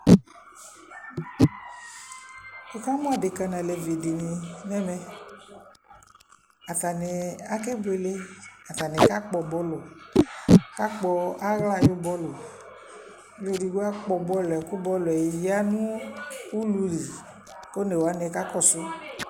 Wʋ kamʋ adeka n'alevi dɩnɩ ŋ'ɛmɛ Atanɩ akebuele, ataɩ kakpɔ bɔlʋ, aka kpɔ aɣla ayu bɔlʋ Ɔlʋ edigbo akpɔ bɔlʋ yɛ kʋ bɔlʋ yɛ ya nʋ ululi k'onewanɩ kakɔsʋ